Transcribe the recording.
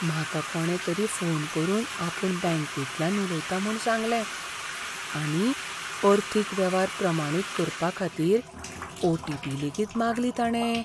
म्हाका कोणे तरी फोन करून आपूण बँकेंतल्यान उलयता म्हूण सांगलें आनी अर्थीक वेव्हार प्रमाणीत करपा खातीरओटीपी लेगीत मागली ताणें.